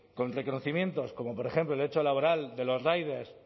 con reconocimientos como por ejemplo el derecho laboral de los riders